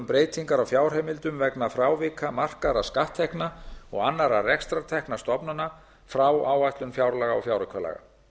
breytingar á fjárheimildum vegna frávika markaðra skatttekna og annarra rekstrartekna stofnana frá áætlun fjárlaga og fjáraukalaga